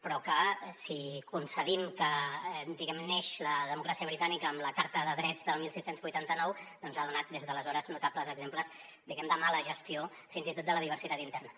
però que si concedim que neix la democràcia britànica amb la carta de drets del setze vuitanta nou ha donat des d’aleshores notables exemples diguem ne de mala gestió fins i tot de la diversitat interna